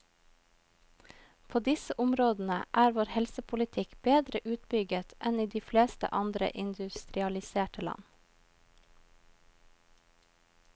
På disse områdene er vår helsepolitikk bedre utbygget enn i de fleste andre industrialiserte land.